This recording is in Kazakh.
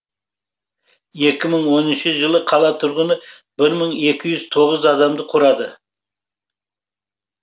екі мың оныншы жылы қала тұрғыны бір мың екі жүз тоғыз адамды құрады